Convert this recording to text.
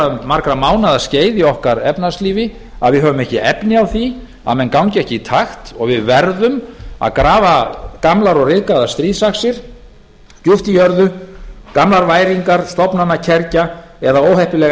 um margra mánaða skeið í okkar efnahagslífi að við höfum ekki efni á því að menn gangi ekki í takt og við verðum að grafa gamlar stríðsaxir djúp í jörðu gamlar væringar stofnanakergja eða óheppileg